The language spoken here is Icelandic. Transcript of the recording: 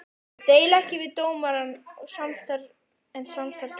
Ég deili ekki við dómarann, en samstarf getur hjálpað.